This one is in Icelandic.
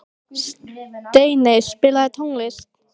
Steiney, spilaðu tónlist.